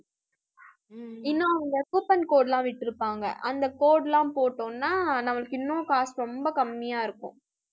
இன்னும் அங்க coupon code லாம் விட்டிருப்பாங்க. அந்த code எல்லாம் போட்டோம்ன்னா நம்மளுக்கு இன்னும் காசு ரொம்ப கம்மியா இருக்கும்.